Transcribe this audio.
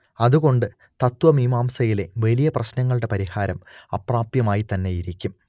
അതുകൊണ്ട് തത്ത്വമീമാംസയിലെ വലിയ പ്രശ്നങ്ങളുടെ പരിഹാരം അപ്രാപ്യമായിത്തന്നെയിരിക്കും